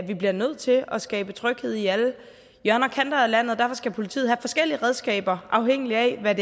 vi bliver nødt til at skabe tryghed i alle hjørner og kanter af landet og derfor skal politiet have forskellige redskaber afhængigt af hvad